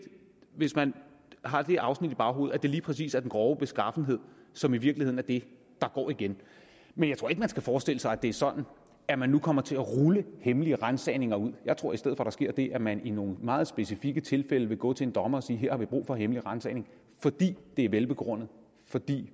hvis man har det afsnit i baghovedet at det lige præcis er den grove beskaffenhed som i virkeligheden er det der går igen men jeg tror ikke man skal forestille sig at det er sådan at man nu kommer til at rulle hemmelige ransagninger ud jeg tror i stedet for at der sker det at man i nogle meget specifikke tilfælde vil gå til en dommer og sige her har brug for hemmelig ransagning fordi det er velbegrundet fordi